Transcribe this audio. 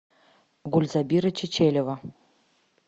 гульзабира чечерева